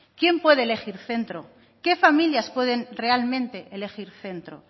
quién puede elegir centro qué familias pueden realmente elegir centro